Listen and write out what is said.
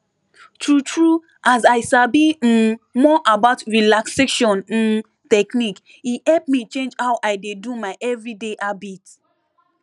true true as i sabi um more about relaxation um technique e help me change how i dey do my everyday habit